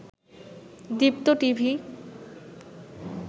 Deepto TV